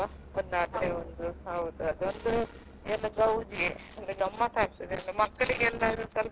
ಹೌದು.